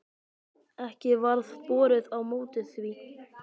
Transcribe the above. Ekki varð borið á móti því.